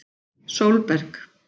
Sólberg